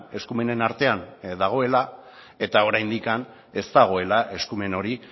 eskumenen artean dagoela eta oraindik ez dagoela eskumen hori